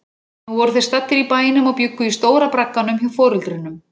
Nú voru þeir staddir í bænum og bjuggu í stóra bragganum hjá foreldrunum.